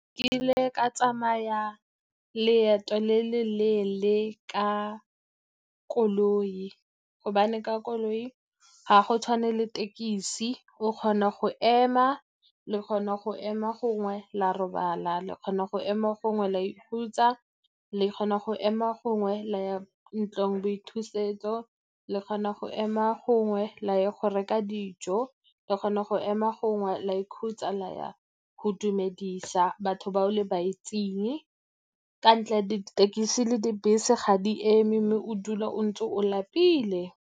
Ke ile ka tsamaya leeto le le leele ka koloi, gobane ka koloi ga go tshwane le thekesi. O kgona go ema, le kgona go ema gongwe la robala, le kgona go ema gongwe la ikhutsa, le kgona go ema gongwe la ya ntlong boithusetso, le kgona go ema gongwe la ya go reka dijo, le kgona go ema gongwe la ikhutsa, la ya go dumedisa batho ba o le itseng. Ka ntla dithekesi le dibese ga di eme, mme o dula o ntse o lapile.